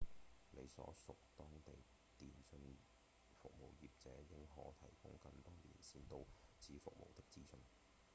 你所屬當地電信服務業者應可提供更多連線到此服務的資訊